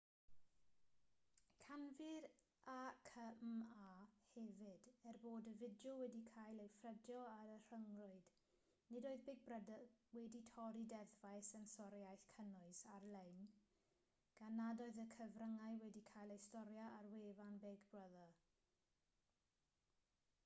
canfu'r acma hefyd er bod y fideo wedi cael ei ffrydio ar y rhyngrwyd nid oedd big brother wedi torri deddfau sensoriaeth cynnwys ar-lein gan nad oedd y cyfryngau wedi cael eu storio ar wefan big brother